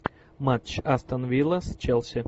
матч астон вилла с челси